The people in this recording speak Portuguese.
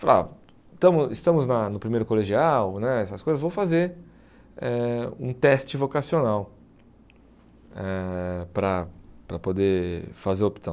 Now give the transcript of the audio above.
Falar, estamos estamos na no primeiro colegial né, essas coisas, vou fazer eh um teste vocacional eh para para poder fazer a opção.